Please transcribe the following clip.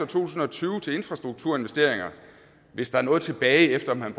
tusind og tyve til infrastrukturinvesteringer hvis der er noget tilbage efter at man